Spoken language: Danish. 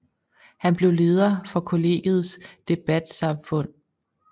Han blev leder for collegets debatsamfund